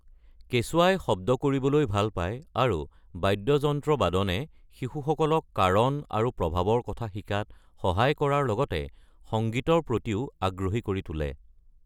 কেঁচুৱাই শব্দ কৰিবলৈ ভাল পায়, আৰু বাদ্যযন্ত্ৰ বাদনে শিশুসকলক কাৰণ আৰু প্ৰভাৱৰ কথা শিকাত সহায় কৰাৰ লগতে সংগীতৰ প্ৰতিও আগ্ৰহী কৰি তোলে।